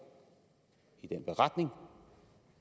i den beretning